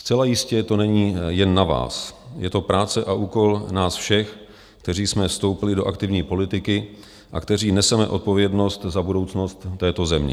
Zcela jistě to není jen na vás, je to práce a úkol nás všech, kteří jsme vstoupili do aktivní politiky a kteří neseme odpovědnost za budoucnost této země.